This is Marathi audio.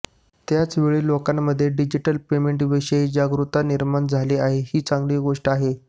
त्याचवेळी लोकांमध्ये डिजिटल पेमेंटविषयी जागरुकता निर्माण झाली आहे ही चांगली गोष्ट आहे